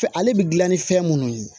Fɛ ale bɛ dilan ni fɛn munnu ye